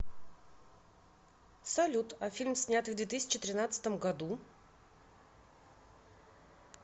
салют а фильм снятый в две тысячи тринадцатом году